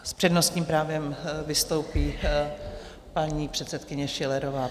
S přednostním právem vystoupí paní předsedkyně Schillerová.